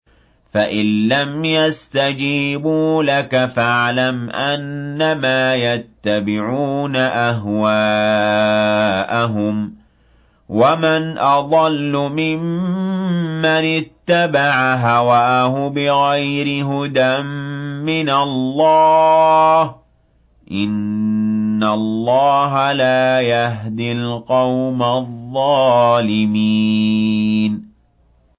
فَإِن لَّمْ يَسْتَجِيبُوا لَكَ فَاعْلَمْ أَنَّمَا يَتَّبِعُونَ أَهْوَاءَهُمْ ۚ وَمَنْ أَضَلُّ مِمَّنِ اتَّبَعَ هَوَاهُ بِغَيْرِ هُدًى مِّنَ اللَّهِ ۚ إِنَّ اللَّهَ لَا يَهْدِي الْقَوْمَ الظَّالِمِينَ